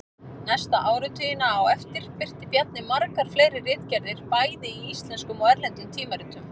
Næstu áratugina á eftir birti Bjarni margar fleiri ritgerðir bæði í íslenskum og erlendum tímaritum.